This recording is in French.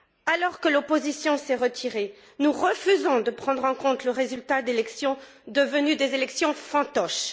Alors que l'opposition s'est retirée, nous refusons de prendre en compte le résultat d'élections devenues des élections fantoches.